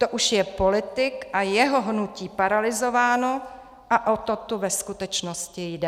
To už jsou politik a jeho hnutí paralyzováni a o to tu ve skutečnosti jde.